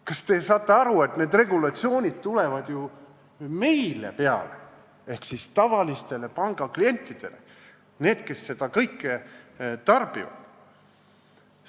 Kas te saate aru, et need regulatsioonid tulevad ju täitmiseks meile ehk tavalistele pangaklientidele, neile, kes seda kõike tarbivad?